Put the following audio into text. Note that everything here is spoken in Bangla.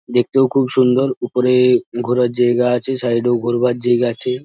দেখতেও খুব সুন্দর। ওপরে ঘোরার জায়গা আছে সাইড-এ ঘোরবার জায়গা আছে।